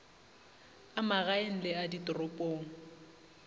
a magaeng le a ditoropong